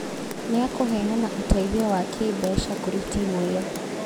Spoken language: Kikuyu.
Nĩakũheana ũteithio wa kĩmbeca kũrĩ timu ĩyo